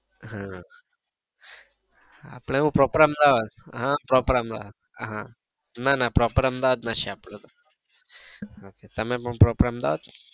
હા અપડે proper અહમેદાબાદ હા proper અહમેદાબાદ હા ના ના proper અહમેદાબાદ ના છીએ અપડે તો તમે પણ proper અહમેદાબાદ ના છો?